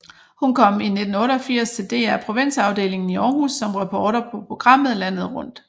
Hun kom i 1988 til DR Provinsafdelingen i Århus som reporter på programmet Landet Rundt